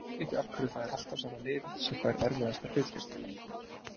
Ég skil ekki af hverju það er alltaf sama liðið sem fær erfiðasta hlutkestið.